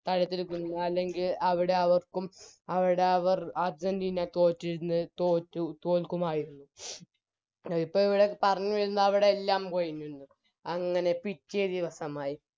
തടുത്തിരിക്കുന്നു അല്ലെങ്കിൽ അവിടെ അവർക്കും അവിടെ അവർ അർജന്റീന തോറ്റിരുന്നു തോറ്റു തോൽക്കുമായിരുന്നു ഇപ്പോൾ ഇവിടെ പറഞ്ഞു വരുന്നത് അവിടെല്ലാം പോയി നിന്ന് അങ്ങനെ പിറ്റേ ദിവസമായി